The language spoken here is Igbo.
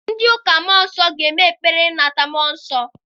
Ndị ụka mmụọ nsọ ga-eme ekpere maka ịnata mmụọ nsọ.